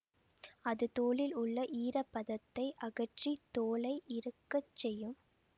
அது தோலில் உள்ள ஈர பதத்தை அகற்றி தோலை இறுக்கச் செய்யும்